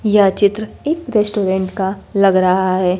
यह चित्र एक रेस्टोरेंट का लग रहा है।